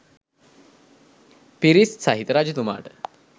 පිරිස් සහිත රජතුමාට